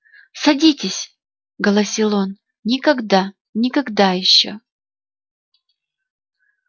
садитесь голосил он никогда никогда ещё